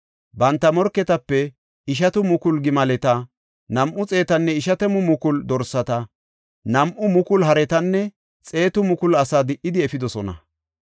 Banta morketape ishatamu mukulu gimaleta, nam7u xeetanne ishatamu mukulu dorsata, nam7u mukulu haretanne xeetu mukulu asaa di77idi efidosona.